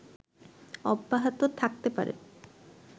অব্যাহত থাকতে পারে